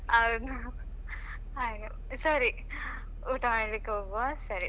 ಹೌದು ಹಾಗೆ ಸರಿ ಊಟ ಮಾಡ್ಲಿಕ್ಕೆ ಹೋಗುವಾ ಸರಿ.